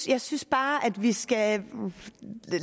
jeg synes bare at vi skal